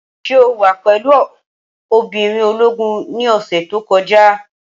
Ṣé o wà pẹ̀lú obìnrin ológun ní ọ̀sẹ̀ tó kọjá?